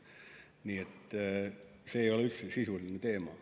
Nii et see ei ole üldse sisuline teema.